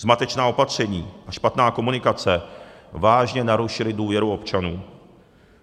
Zmatečná opatření a špatná komunikace vážně narušily důvěru občanů.